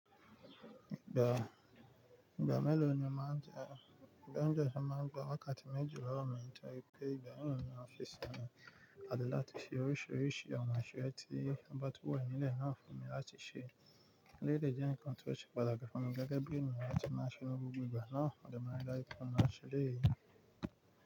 Ìgbà, ìgbà mélòó ni o máa ń jẹ́, ìgbà ọjọ́ ṣé máa ń jẹ́ wákàtí méjì lọ́wọ́ mi nítorí pé ìgbà mìíràn ní ọ́fíìsì mi, a lè láti ṣe oríṣiríṣi àwọn iṣẹ tí ọba tó wà nílẹ̀ náà fún mi láti ṣe. Eléyìí dẹ́ ǹkan tí ó ṣe pàtàkì fún mi gẹ́gẹ́ bí ènìyàn lati máa ṣe oun gbogbo ígbà náà, mo dárí daju pé mo ma ṣẹ eléyìí.